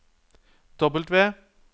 W